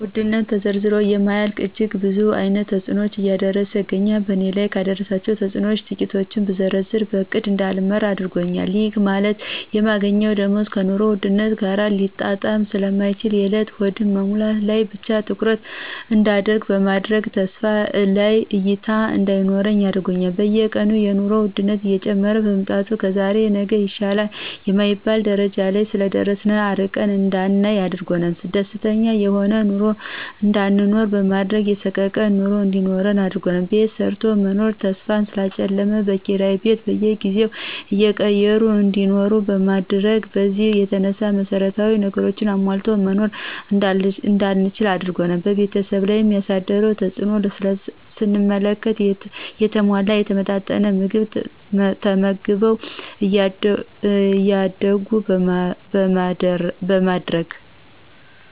ውድነት ተዘርዝሮ የማያልቅ እጅግ ብዙ አይነት ተጽኖዎችን እያደረሰ ይገኛል በእኔ ላይ ካደረሳቸው ተጽኖዎች ትቂቱን ብዘረዝር በእቅድ እዳልመራ አድርጎኛል ይህ ማለት የማገኘው ደሞዝ ከኑሮ ውድነት ጋር ሊጣጣም ስለማይችል የእለት ሆድን መሙላት ላይ ብቻ ትኩረት እዳደርግ በማድረግ ሰፋ ያለ እይታ እዳይኖረኝ አድርጓል። በየቀኑ የኑሮ ወድነት እየጨመረ በመምጣቱ ከዛሬ ነገ ይሻላል የማይባልበት ደረጃ ላይ ስለደረሰ አርቀን እዳናይ አድርጓል። ደስተኛ የሆነ ኑሮ እዳይኖረን በማድረግ የሰቀቀን ኑሮ እንዲኖረን አድርጓል። ቤት ሰርቶ የመኖር ተስፋን ስላጨለመ በኪራይ ቤት በየጊዜው እየቀየሩ እንዲኖር በማድረግ በዚህ የተነሳ መሰረታዊ ነገሮችን አሟልቶ መኖር እዳንችል አድርጓል። በቤተሰብ ላይ ያሳደረውን ተጽእኖም ስንመለከት የተሟላና የተመጣጠነ ምግብ ተመግበው እዳያድጉ በማድረግ